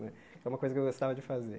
É uma coisa que eu gostava de fazer.